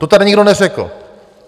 To tady nikdo neřekl.